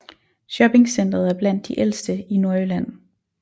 Shoppingcentret er blandt de ældste i Nordjylland